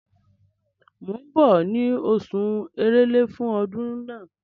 Mò ń bọ̀ ní oṣù Èrèlé fún ọdún náà.